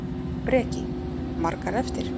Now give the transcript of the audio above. Breki: Margar eftir?